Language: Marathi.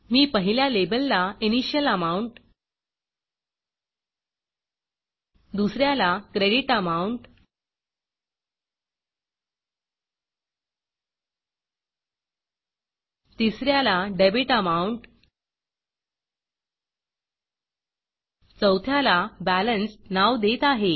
मी पहिल्या लेबलला इनिशियल Amountइनिशियल अमाउंट दुस याला क्रेडिट Amountक्रेडिट अमाउंट तिस याला डेबिट amountडेबिट अमाउंट चौथ्याला balanceबॅलेन्स नाव देत आहे